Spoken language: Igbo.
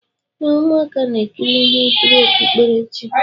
ee, ụmụaka na-ekiri ihe nkiri okpukperechi.